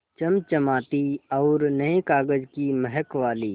चमचमाती और नये कागज़ की महक वाली